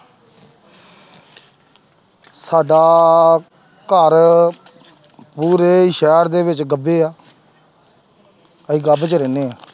ਸਾਡਾ ਘਰ ਪੂਰੇ ਸ਼ਹਿਰ ਦੇ ਵਿੱਚ ਗੱਬੇ ਹੈ ਅਸੀਂ ਗੱਬ 'ਚ ਰਹਿੰਦੇ ਹਾਂ।